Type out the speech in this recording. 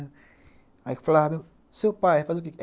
Aí eu falava, meu, seu pai faz o quê?